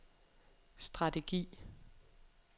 strategi